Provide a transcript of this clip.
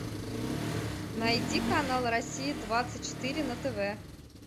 найди канал россия двадцать четыре на тв